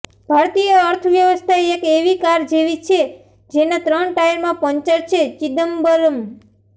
ભારતીય અર્થવ્યવસ્થા એક એવી કાર જેવી છે જેના ત્રણ ટાયરમાં પંક્ચર છેઃ ચિદમ્બરમ